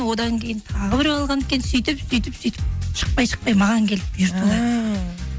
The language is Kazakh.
одан кейін тағы біреу алған екен сөйтіп сөйтіп сөйтіп шықпай шықпай маған келіп